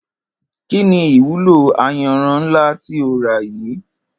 Kí ni ìwúlò ayanran ńlá tí o rà yìí?